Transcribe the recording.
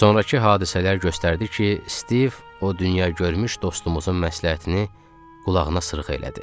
Sonrakı hadisələr göstərdi ki, Stiv o dünya görmüş dostumuzun məsləhətini qulağına sırğa elədi.